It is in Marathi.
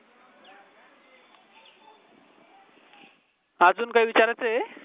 अजून काय विचारायच आहे